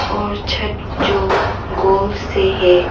और छत जो गोल से है।